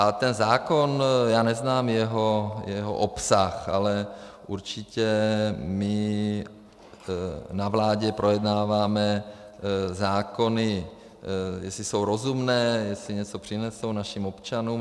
A ten zákon, já neznám jeho obsah, ale určitě my na vládě projednáváme zákony, jestli jsou rozumné, jestli něco přinesou našim občanům.